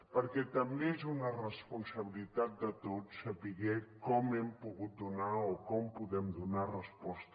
perquè també és una responsabilitat de tots saber com hi hem pogut donar o com hi podem donar resposta